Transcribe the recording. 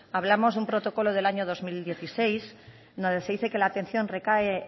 hablamos de un protocolo del año dos mil dieciséis donde se dice que la atención recae